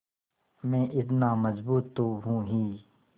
मैं इतना मज़बूत तो हूँ ही